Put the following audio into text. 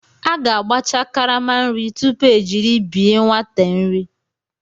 A ga-agbacha karama nri tupu ejiri bye nwate nri.